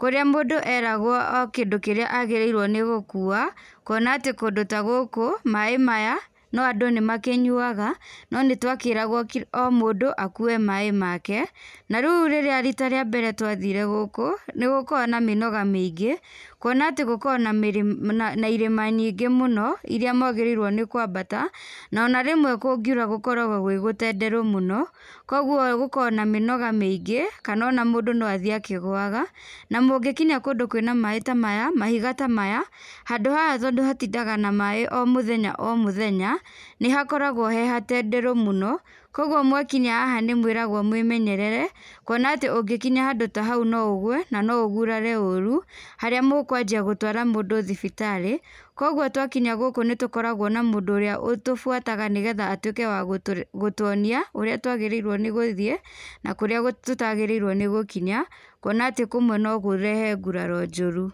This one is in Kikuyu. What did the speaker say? kũria mũndũ eragwo o kindũ kĩrĩa agĩrĩirwo nĩ gũkua, kuona atĩ kũndũ ta gũkũ, maĩ maya no andũ nĩmakĩnyuaga, no nĩtwakĩragwo ki o mũndũ akue maĩ make, na riũ rĩrĩa rĩta rĩa mbere twathire gũkũ, nĩgukoragwo na mĩnoga mĩingĩ, kuona atĩ gũkoragwo na mĩrĩ na irĩma nyingĩ mũno, iria mwagĩrĩirwo nĩ kwambata, na ona rĩmwe kũngiũra gũkoragwo gwĩ gũtenderũ mũno, koguo gũkoragwo na mĩnoga mĩingĩ, kana ona mũndũ no athiĩ akĩguaga. Na mũngĩkĩnya kũndũ kwĩna maĩ ta maya, mahiga ta maya, handũ ha tondũ hatindaga na maĩ o mũtenya o mũthenya, nĩhakoragwo he hatenderũ mũno, koguo mwakinya haha nĩmwĩragwo mwĩmenyerere, kuona atĩ ũngĩkinya handũ ta hau no ũgwe na no ũgũrare ũru, harĩa mũkwanjia gũtwara mũndũ thibitarĩ, koguo twakinya gũkũ nĩtũkoragwo na mũndũ ũrĩa ũtũbuataga, nĩgetha atuĩke wa gũtũ gũtuonia, ũrĩa twagĩrĩirwo nĩ gũthiĩ, na kũrĩa gũta tũtagĩrĩirwo nĩ gũkinya, kuona atĩ kũmwe no kũrehe nguraro njũru.